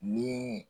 Ni